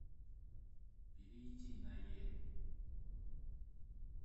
перейти на е